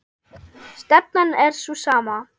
Stefnan er sú sama.